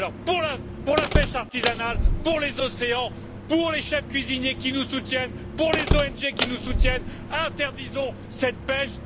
Alors pour la pêche artisanale, pour les océans, pour les chefs cuisiniers qui nous soutiennent, pour les ONG qui nous soutiennent, interdisons cette pêche.